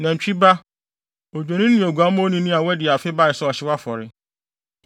nantwi ba, odwennini ne oguamma onini a wɔadi afe bae sɛ ɔhyew afɔre,